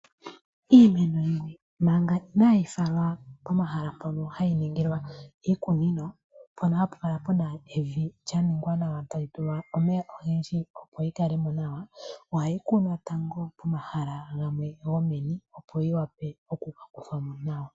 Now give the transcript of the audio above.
Iimeno yimwe manga inayi falwa pomahala mpono hayi ningilwa iikunino, mpono hapu kala puna evi lyaningwa nawa, tali tulwa omeya ogendji opo yikalemo nawa, ohayi kunwa tango pomahala gamwe gomeni, opo yiwape okuka kuthwamo nawa.